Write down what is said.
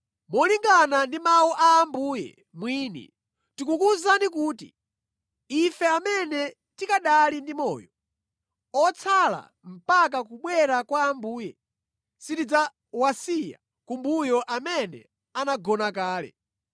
Molingana ndi mawu a Ambuye mwini, tikukuwuzani kuti, ife amene tikanali ndi moyo, otsala mpaka kubwera kwa Ambuye, sitidzawasiya kumbuyo amene anagona kale.